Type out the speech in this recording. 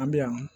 An bɛ yan